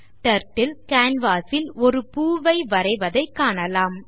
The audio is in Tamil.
Turtle canvas ல் ஓர் பூவை வரைவதைக் காணலாம்